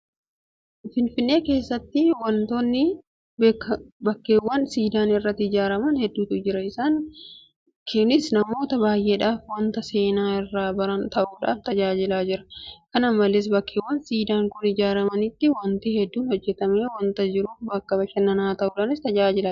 Finfinnee keessa bakkeewwan siidaan irratti ijaaraman hedduutu jira. Isaan kunis namoota baay'eedhaaf waanta seenaa irraa baran ta'uudhaan tajaajilaa jira, Kana malees bakkeewwan siidaan kun ijaaramanitti waanti hedduun hojjetamee waanta jiruuf bakka bashannanaa ta'uudhaanis tajaajilaa jira.